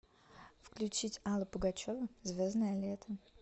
включить алла пугачева звездное лето